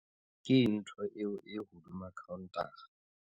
Keng ntho eo e hodima khaontara?